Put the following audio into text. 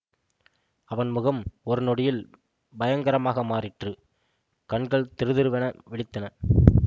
அவன் முகம் ஒரு நொடியில் பயங்கரமாக மாறிற்று கண்கள் திருதிருவென்று விழித்தன